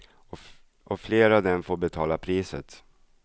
Och flera av dem får betala priset.